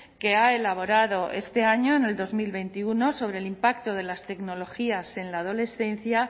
que ha elaborado este año en el dos mil veintiuno sobre el impacto de las tecnologías en la adolescencia